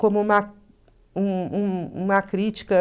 Como uma um um uma crítica.